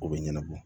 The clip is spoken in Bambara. O bɛ ɲɛnabɔ